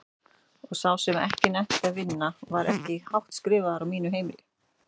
Og sá sem ekki nennti að vinna var ekki hátt skrifaður á mínu heimili.